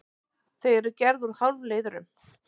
Þau eru gerð úr hálfleiðurum.